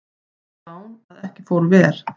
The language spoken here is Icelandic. Lán að ekki fór ver